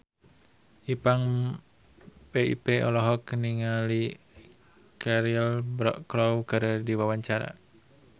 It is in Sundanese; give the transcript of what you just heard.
Ipank BIP olohok ningali Cheryl Crow keur diwawancara